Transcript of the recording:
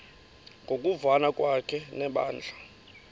ngokuvana kwakhe nebandla